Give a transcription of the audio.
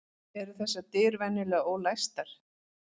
Eru þessar dyr venjulega ólæstar?